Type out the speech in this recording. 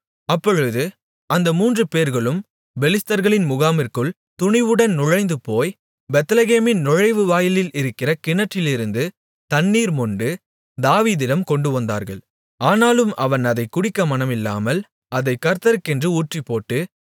அப்பொழுது அந்த மூன்றுபேர்களும் பெலிஸ்தர்களின் முகாமிற்குள் துணிவுடன் நுழைந்துபோய் பெத்லெகேமின் நுழைவுவாயிலில் இருக்கிற கிணற்றிலிருந்து தண்ணீர் மொண்டு தாவீதிடம் கொண்டுவந்தார்கள் ஆனாலும் அவன் அதைக் குடிக்க மனமில்லாமல் அதைக் கர்த்தருக்கென்று ஊற்றிப்போட்டு